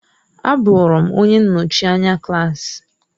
Abụrụ m onye nnọchi anya klaasị.